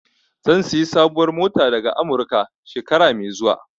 Zan sayi sabuwar mota daga Amurika, shekara mai zuwa.